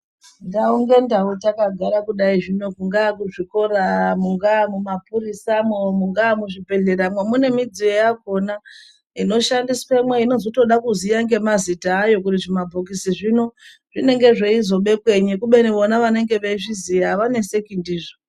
Ndau ngendau takagara kudai zvino, kungaa kuzvikora, mungaa mumaphurisamwo, mungaa muzvibhedhleramwo, mune midziyo yakhona inoshandiswemwo, inozotoda kuziye ngemazita ayo kuti zvibhokisi zvino zvinenge zveizobhekwenyi, kubeni vona vanenge veizviziya avaneseki ndizvo.